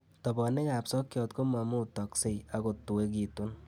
Tobonikab sokyot komumutokse ak kotuekitun